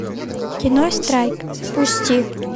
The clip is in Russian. кино страйк запусти